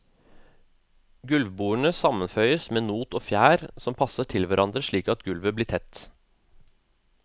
Gulvbordene sammenføyes med not og fjær som passer til hverandre slik at gulvet blir tett.